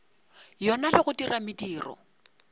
yona le go dira mediro